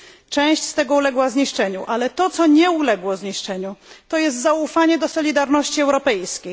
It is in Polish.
Część z tego uległa zniszczeniu, ale to, co nie zostało zniszczone, to zaufanie do solidarności europejskiej.